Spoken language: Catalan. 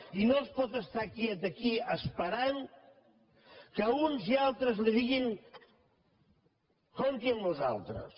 i no es pot estar quiet aquí esperant que uns i altres li diguin compti amb nosaltres